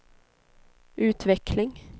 utveckling